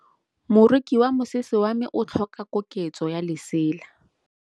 Moroki wa mosese wa me o tlhoka koketsô ya lesela.